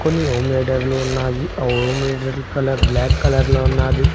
కొన్ని ఓమ్లెటర్లు ఉన్నాయి ఆ ఓమ్లెటర్ల కలర్ బ్లాక్ కలర్లో ఉన్నాది.